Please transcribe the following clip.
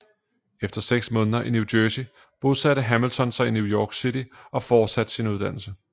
Efter seks måneder i New Jersey bosatte Hamilton sig i New York City og fortsatte sin uddannelse